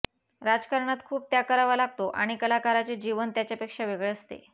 राजकारणात खूप त्याग करावा लागतो आणि कलाकाराचे जीवन याच्यापेक्षा वेगळे असते